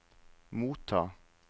motta